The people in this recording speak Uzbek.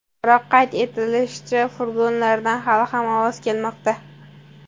Biroq, qayd etilishicha, furgonlardan hali ham ovoz kelmoqda.